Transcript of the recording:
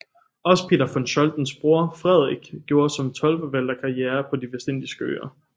Også Peter von Scholtens bror Frederik gjorde som toldforvalter karriere på De vestindiske Øer